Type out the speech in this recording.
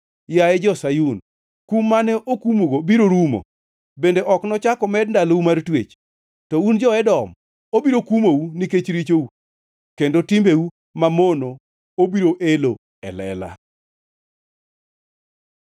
Yaye jo-Sayun, kum mane okumugo biro rumo; bende ok nochak omed ndalou mar twech. To un jo-Edom, obiro kumou nikech richou kendo timbeu mamono obiro elo e lela.